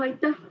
Aitäh!